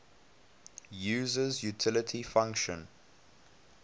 user's utility function